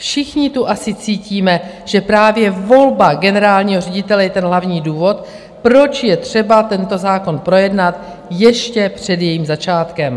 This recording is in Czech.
Všichni tu asi cítíme, že právě volba generálního ředitele je ten hlavní důvod, proč je třeba tento zákon projednat ještě před jejím začátkem.